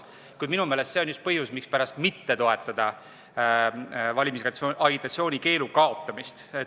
Kuid minu meelest on see just põhjus, mispärast mitte toetada valimisagitatsiooni keelu kaotamist.